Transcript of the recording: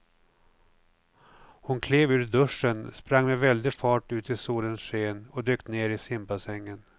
Hon klev ur duschen, sprang med väldig fart ut i solens sken och dök ner i simbassängen.